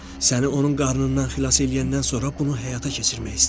Səni onun qarnından xilas eləyəndən sonra bunu həyata keçirmək istəyirəm.